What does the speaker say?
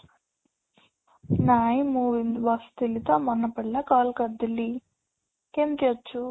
ନାଇଁ ମୁଁ ଏମିତି ବସି ଥିଲି ତ ମନେ ପଡିଲା call କରିଦେଲି, କେମିତି ଅଛୁ?